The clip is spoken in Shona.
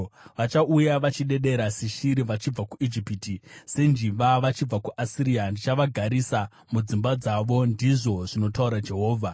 Vachauya vachidedera seshiri vachibva kuIjipiti, senjiva vachibva kuAsiria. Ndichavagarisa mudzimba dzavo,” ndizvo zvinotaura Jehovha.